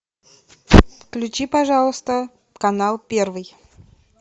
включи пожалуйста канал первый